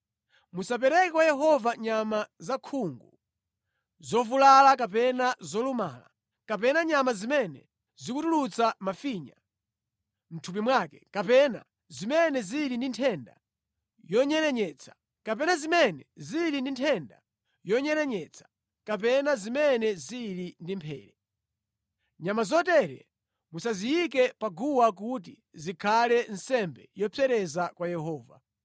Musapereke kwa Yehova nyama zakhungu, zovulala kapena zolumala, kapena nyama zimene zikutulutsa mafinya mʼthupi mwake, kapena zimene zili ndi nthenda yonyerenyetsa, kapena zimene zili ndi mphere. Nyama zotere musaziyike pa guwa kuti zikhale nsembe yopsereza kwa Yehova.